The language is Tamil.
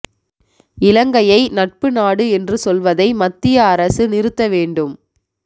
இலங்கையை நட்பு நாடு என்று சொல்வதை மத்திய அரசு நிறுத்த வேண்டும்